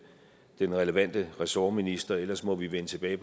den relevante ressortminister og ellers må vi vende tilbage